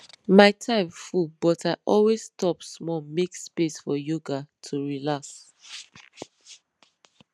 my time full but i always stop small make space for yoga to relax